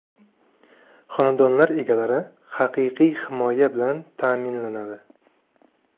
Xonadonlar egalari haqiqiy himoya bilan ta’minlanadi.